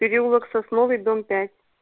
переулок сосновый дом пять